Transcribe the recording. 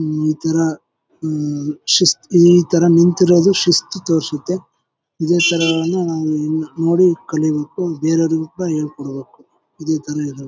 ಈ ತರ ಹಮ್ ಶಿಸ್ ಈ ತರ ನಿಂತಿರೋದು ಶಿಸ್ತು ತೋರ್ಸುತ್ತೆ ಇದೆ ತರನು ನೋಡಿ ಕಲಿಬೇಕು ಬೇರೆಯವರಿಗೂ ಸಹ ಹೇಳಿ ಕೊಡ್ಬೇಕು ಇದೆ ತರ ಎಲ್ಲರು.